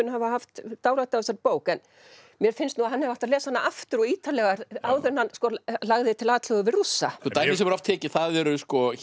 hafa haft dálæti á þessari bók en mér finnst nú að hann hefði átt að lesa hana aftur og ítarlegar áður en hann lagði til atlögu við Rússa dæmi sem er oft tekið það eru